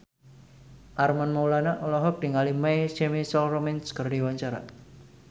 Armand Maulana olohok ningali My Chemical Romance keur diwawancara